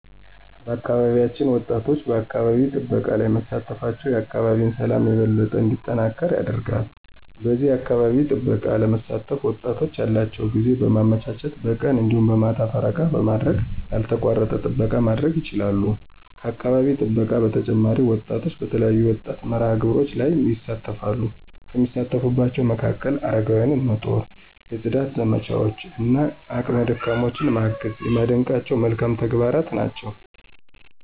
በአካባቢያችን ወጣቶች በአካባቢ ጥበቃ ላይ መሳተፋቸው የአካባቢን ሠላም የበለጠ እንዲጠናከር ያደርጋል። በዚህ የአካባቢ ጥበቃ ለመሳተፍ ወጣቶች ያላቸውን ጊዜ በማመቻቸት በቀን እንዲሁም በማታ ፈረቃ በማድረግ ያልተቋረጠ ጥበቃ ማድረግ ይችላሉ። ከአካባቢ ጥበቃ በተጨማሪ ወጣቶች በተለያዩ የወጣት መርሃ-ግብሮች ላይ ይሣተፈሉ፤ ከሚሳተፉባቸው መካከል፦ አረጋውያንን መጦር፣ የፅዳት ዘመቻዎች እና አቅመ ደካሞችን ማገዝ የማደንቃቸው መልካም ተግባራት ናቸው።